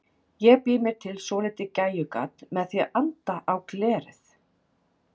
Ég bý mér til svolítið gægjugat með því að anda á glerið.